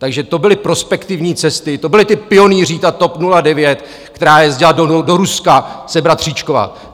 Takže to byly prospektivní cesty, to byli ti pionýři, ta TOP 09, která jezdila do Ruska se bratříčkovat!